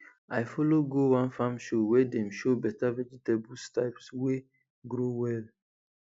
i follow go one farm show wey dem show beta vegetable types wey grow well